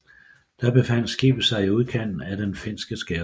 Da befandt skibet sig i udkanten af den finske skærgård